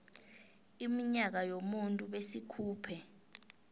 iminyaka yomuntu besikhuphe